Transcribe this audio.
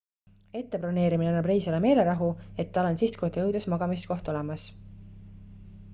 ette broneerimine annab reisijale meelerahu et tal on sihtkohta jõudes magamiskoht olemas